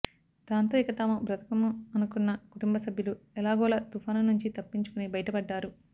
దాంతో ఇక తాము బ్రతకము అనుకున్న కుటుంభ సభ్యులు ఎలాగోలా తుఫాను నుంచీ తప్పించుకుని బయటపడ్డారు